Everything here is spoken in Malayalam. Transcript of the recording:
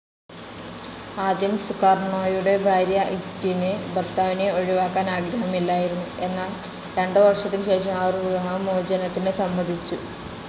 ആദ്യം സുകാർണോയുടെ ഭാര്യ ഇങ്കിറ്റിന് ഭർത്താവിനെ ഒഴിവാക്കാൻ ആഗ്രഹമില്ലായിരുന്നു. എന്നാൽ, രണ്ടു വർഷത്തിന് ശേഷം അവർ വിവാഹ മോചനത്തിന് സമ്മതിച്ചു.